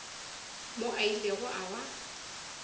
moo a ilego a ba